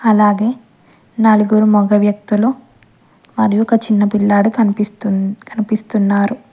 అలాగే నాలుగు వ్యక్తులు మరియు ఒక చిన్న పిల్లాడు కనిపిస్తుంది కనిపిస్తున్నారు.